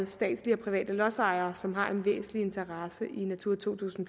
statslige og private lodsejere som har en væsentlig interesse i natura to tusind